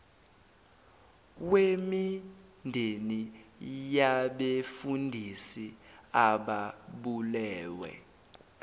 wemindeni yabefundisi ababulewe